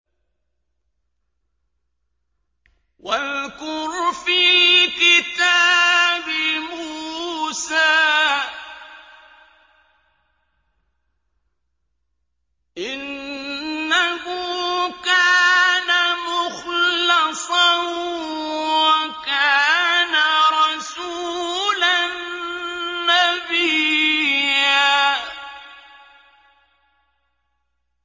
وَاذْكُرْ فِي الْكِتَابِ مُوسَىٰ ۚ إِنَّهُ كَانَ مُخْلَصًا وَكَانَ رَسُولًا نَّبِيًّا